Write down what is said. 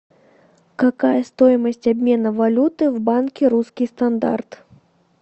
какая стоимость обмена валюты в банке русский стандарт